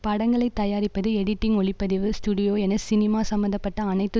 படங்களை தயாரிப்பது எடிட்டிங் ஒலிப்பதிவு ஸ்டுடியோ என சினிமா சம்பந்த பட்ட அனைத்து